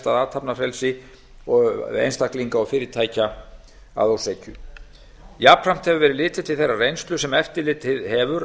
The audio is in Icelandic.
að athafnafrelsi einstaklinga og fyrirtækja að ósekju jafnframt hefur verið litið til þeirrar reynslu sem eftirlitið hefur